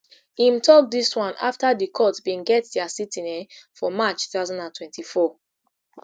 im tok dis one afta di court bin get dia sitting um for march two thousand and twenty-four